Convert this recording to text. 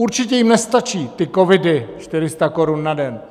Určitě jim nestačí ty covidy 400 korun na den.